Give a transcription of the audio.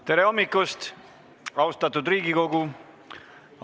Tere hommikust, austatud Riigikogu!